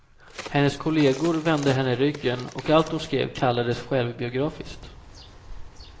Hennes kollegor vände henne ryggen och allt hon skrev kallades självbiografiskt.